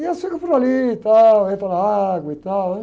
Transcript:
E elas ficam por ali e tal, entram na água e tal, né?